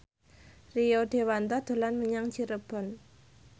Rio Dewanto dolan menyang Cirebon